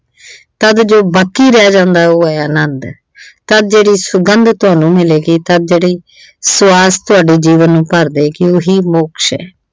ਤਦ ਜੋ ਬਾਕੀ ਰਹਿ ਜਾਂਦਾ ਉਹ ਅਨੰਦ ਐ ਤਦ ਜਿਹੜੀ ਸੁਗੰਧ ਤੁਹਾਨੂੰ ਮਿਲੇਗੀ ਤਦ ਜਿਹੜੀ ਸੁਆਸ ਤੁਹਾਡੇ ਜੀਵਨ ਨੂੰ ਭਰ ਦੇਵੇਗੀ ਉਹੀ ਮੋਕਸ਼ ਆ।